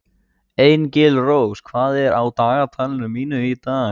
Engilrós, hvað er á dagatalinu mínu í dag?